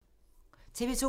TV 2